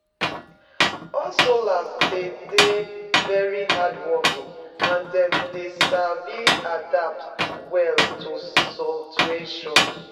Hustlers dey de very hardworking and dem dey sabi adapt well to situations